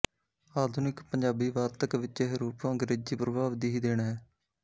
ਆਧੁਨਿਕ ਪੰਜਾਬੀ ਵਾਰਤਕ ਵਿੱਚ ਇਹ ਰੂਪ ਅੰਗਰੇਜੀ ਪ੍ਰਭਾਵ ਦੀ ਹੀ ਦੇਣ ਹੈ